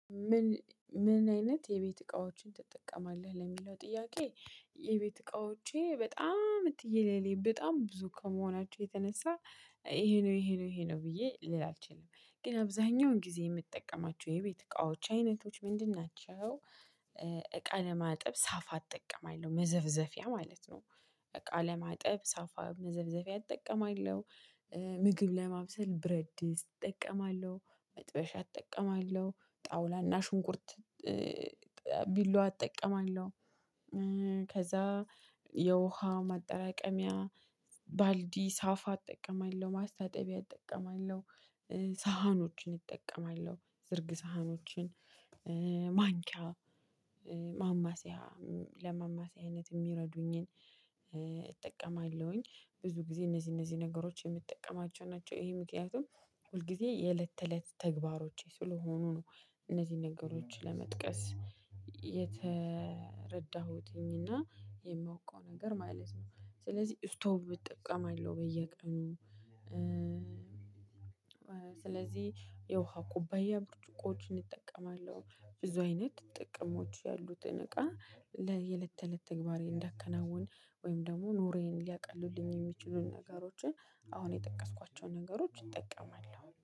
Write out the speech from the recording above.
ምን ምን አይነት የቤት እቃዎችን ትጠቀማለህ ለሚለው ጥያቄ? የቤት እቃዎቼ በጣም ትየለሌ በጣም ብዙ ከመሆናቸው የተነሳ ይሄ ነው ይሄ ነው ይሄ ነው ብዬ ልል አልችልም ግን አብዛኛውን ጊዜ የምጠቀማቸው የቤት እቃዎች አይነቶች ምንድን ናቸው? እቃ ለማጥብ ሳፋ አጠቀማለሁ መዘፍዘፊያ ማለት ነው። እቃ ለማጠብ ሳፋ መዘፍዘፊያ አጠቀማለሁ። ምግብ ለማብሰል ብረትድስት እጠቀማለሁ መጥበሻ እጠቀማለሁ ጣውላና ሽንኩርት ቢላዋ አጠቀማለሁ። ከዛ የውሃ ማጠራቀሚያ ባልዲ ሳፋ እጠቀማለሁ ማስታጠቢያ እጠቀማለሁ። ሳህኖችን እጠቀማለሁ ዝርግ ሳህኖችን ማንኪያ ማማሲያ አይነት የሚረዱኝን እጠቀማለሁኝ ብዙ ጊዜ እነዚህ እነዚህ ነገሮች የምጠቀማቸው ናቸው። ይሄ ምክንያቱም ሁልጊዜ የእለት ተእለት ተግባሮቼ ስለሆኑ ነው። እነዚህን ነገሮች ለመጥቀስ የተረዳሁትኝና የማውቀው ነገር ማለት ነው። ስለዚህ ስቶቭ እጠቀማለሁ በየቀኑ። ስለዚህ የውሃ ኩባያ ብርጭቆችን እጠቀማለሁ ብዙ አይነት ጥቅሞች ያሉትን እቃ ለየ እለት እለት ተግባሬ እንዳከናውን ወይም ደግሞ ኑሮየን ሊያቀሉልኝ የሚችሉን ነገሮችን አሁን የጠቀስኳቸውን ነገሮች ይጠቀማሉ